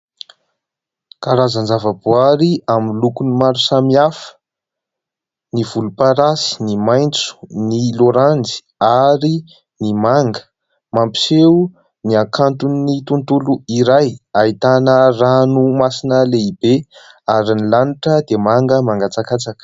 Karazan-java-boary amin'ny lokony maro samihafa ny volomparasy, ny maitso, ny loranjy ary ny manga ; mampiseho ny hakanton'ny tontolo iray ahitana ranomasina lehibe ary ny lanitra dia manga mangatsakatsaka.